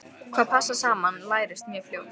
Hvað passar saman lærist mjög fljótt.